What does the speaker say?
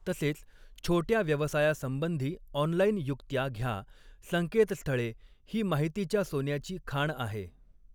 तसेच, छोट्या व्यवसायासंबंधी ऑनलाईन युक्त्या घ्या, संकेतस्थळे ही माहितीच्या सोन्याची खाण आहे.